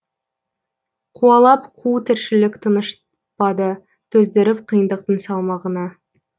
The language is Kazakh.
қуалап қу тіршілік тынышпады төздіріп қиындықтың салмағына